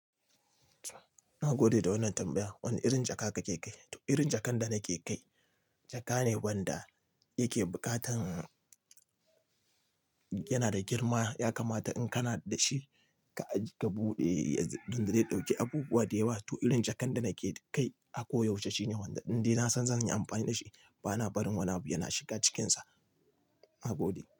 Na gode da wannan tambaya. Wane irin jaka kake kai? To irin jakan da nake kai, jaka ne wanda yake bukatan, yana da girma ya kamata in kana da shi ka aj ka buɗe don da zai ɗauki abubuwa da yawa. To irin jakan da nake kai a koyaushe shine wanda inda ina son zan yi amfani da shi. Bana barin wani abu yana shiga cikinsa. Na gode.